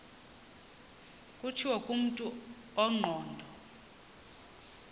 kutshiwo kumntu ongqondo